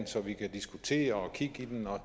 så vi kan diskutere og kigge i den og